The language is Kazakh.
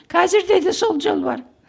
қазірде де сол жол бар